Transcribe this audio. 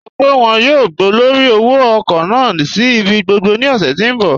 Wọn sọ́ pé wọn yóò gbọ̀lọ́rí òwò-ọ̀kọ̀ naà sí ibi gbogbo ní òṣè tí n bọ̀.